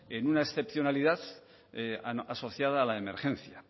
en una excepcionalidad asociada a la emergencia